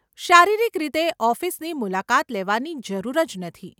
શારીરિક રીતે ઓફિસની મુલાકાત લેવાની જરૂર જ નથી.